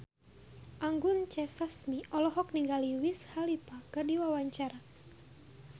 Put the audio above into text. Anggun C. Sasmi olohok ningali Wiz Khalifa keur diwawancara